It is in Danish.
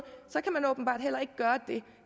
så kan man åbenbart heller ikke gøre det